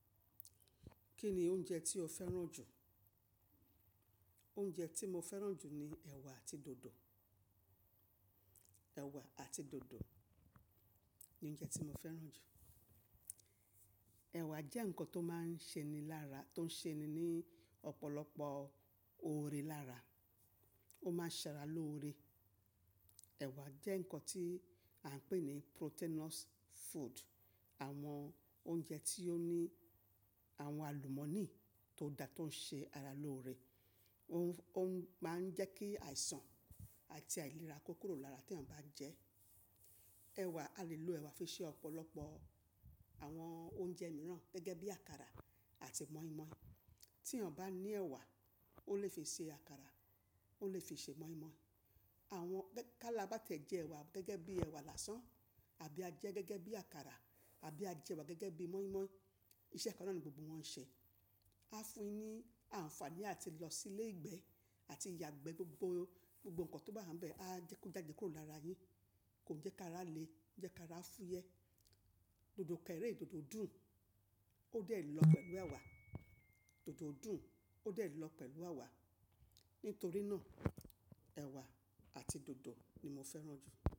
Kí ni oúnjẹ tí o fẹ́ràn jù? Oúnjẹ tí mo fẹ́ràn jù ni ẹ̀wà àti dòdò. Ẹ̀wà àti dòdò ni oúnjẹ tí mo fẹ́ràn jù. Ẹ̀wà jẹ́ nǹkan tó máa ń ṣe ni lára, tó ń ṣe ni ní ọ̀pọ̀lọpọ̀ oore lára. Ó máa ń ṣẹra lóore. Ẹ̀wà jẹ́ nǹkan tí à ń pè ní proteinous food. Àwọn oúnjẹ tí ó ní àwọn àlùmọ́nì tó da tó ń ṣe ara lóore. Ó ń, ó máa ń jẹ́ kí àìsàn àti àìlera kó kúrò lára tí èyàn bá jẹ ẹ́. Ẹ̀wà, a lè lo ẹ̀wà fi ṣe ọ̀pọ̀lọpọ̀ àwọn oúnjẹ mìíràn gẹ́gẹ́ bí àkàrà àti moi moi. Tí ènìyàn bá ní ẹ̀wà, ó lè fi ṣe àkàrà, ó lè fi ṣe moi moi. Àwọn gẹ́-- ká lá bá tẹ̀jẹ́ ẹ̀wà gẹ́gẹ́ bí ẹ̀wà lásán àbí a jẹ ẹ́ gẹ́gẹ́ bí àkàrà àbí a jẹ ẹ̀wà gẹ́gẹ́ bí moi moi, iṣẹ́ kan náà ni gbogbo wọn ń ṣe. A fún ni àǹfààní àti lọ sí ilé ìgbẹ́ àti ìyàgbẹ́ gbogbo, gbogbo nǹkan tó bá hán bẹ́ẹ̀ a jẹ́ kó jáde kúrò lára yin. Kò jẹ́ káa rá le jẹ́ káa rá fúyẹ́. Dòdò kẹ́rẹ́, dòdò dùn, ó dè lọ pẹ̀lú ẹ̀wà. Dòdò dùn, ó lè lọ pẹ̀lú ẹ̀wà. Nítorí náà ẹ̀wà àti dòdò ni mo fẹ́ràn jù.